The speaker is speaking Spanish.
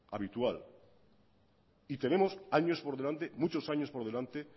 habitual y tenemos años por delante muchos años por delante